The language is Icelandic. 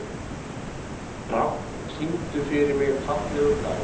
Hrafn, syngdu fyrir mig „Fallegur dagur“.